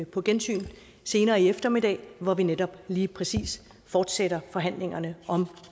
på gensyn senere i eftermiddag hvor vi netop lige præcis fortsætter forhandlingerne om